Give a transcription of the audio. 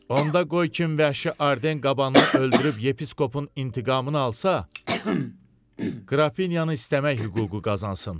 Onda qoy kim vəhşi Arden qabanını öldürüb yepiskopun intiqamını alsa, Qrafinyanı istəmək hüququ qazansın.